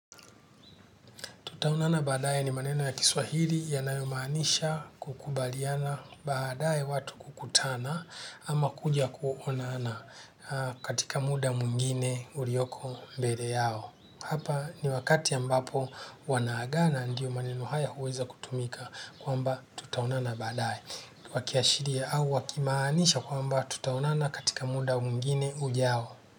Tutaonana badaye ni maneno ya Kiswahili yanayomaanisha kukubaliana badaye watu kukutana ama kuja kuonana katika muda mwingine ulioko mbele yao. Hapa ni wakati ambapo wanaagana ndio maneno haya huweza kutumika kwamba tutaonana badaye. Wakiashiria au wakimaanisha kwamba tutaonana katika muda mungine ujao.